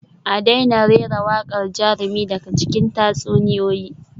A daina rera waƙar jarumi daga cikin tatsuniyoyi